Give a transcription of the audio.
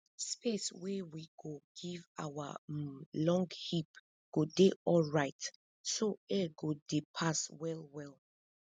space wey we go give our um long heap go dey alrite so air go dey pass well well